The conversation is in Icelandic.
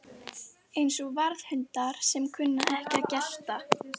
Eins og varðhundar sem kunna ekki að gelta